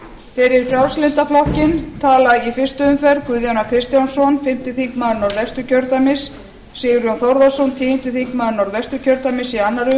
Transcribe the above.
fyrir frjálslynda flokkinn tala í fyrstu umferð guðjón a kristjánsson fimmti þingmaður norðvesturkjördæmis sigurjón þórðarson tíundi þingmaður norðvesturkjördæmis í annarri